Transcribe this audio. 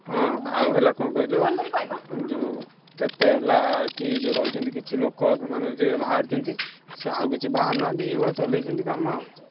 ହଁ ଆଉ ହେଲା କଣ କହିଲ ଉଁ ଯୋଉ କେତେ ହେଲା ଏଠି ଯୋଉ ରହିଛନ୍ତି କିଛି ଲୋକ ମାନେ ଯିଏ ବାହାରିଛନ୍ତି ସିଏ ଆଉ କିଛି ବାହାରିନାହାନ୍ତି, ଏଇଭଳିଆ ଚଲେଇଛନ୍ତି କାମ ଆଉ।